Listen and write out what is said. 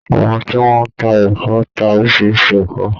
Àwọn tí wọ́n ń tá ẹ̀fọ́ ń ta orísirísi ẹ̀fọ́.